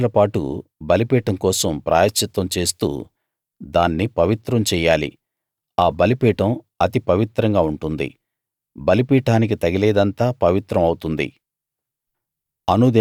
ఏడు రోజులపాటు బలిపీఠం కోసం ప్రాయశ్చిత్తం చేస్తూ దాన్ని పవిత్రం చెయ్యాలి ఆ బలిపీఠం అతి పవిత్రంగా ఉంటుంది బలిపీఠానికి తగిలేదంతా పవిత్రం అవుతుంది